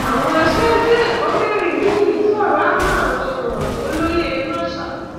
àwọn aṣáájú ẹkọ mẹrin mií sọrọ hannah thomas olóyè